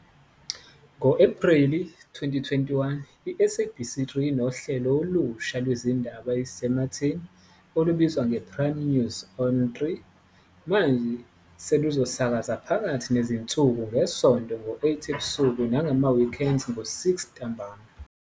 Ngo-Ephreli 2021, i-SABC 3 inohlelo olusha lwezindaba ezisematheni olubizwa ngePrime News On 3, manje seluzosakaza phakathi nezinsuku ngeSonto ngo-8 ebusuku nangama-Weekends ngo-6 ntambama.